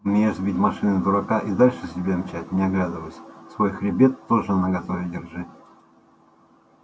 умеешь сбить машиной дурака и дальше себе мчать не оглядываясь свой хребет тоже наготове держи